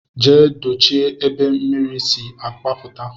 Jee dochie ebe mmiri si agbaputa.